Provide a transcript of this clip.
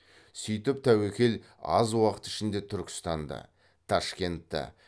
сөйтіп тәуекел аз уақыт ішінде түркістанды ташкентті